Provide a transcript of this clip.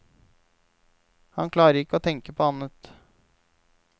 Han klarer ikke å tenke på annet.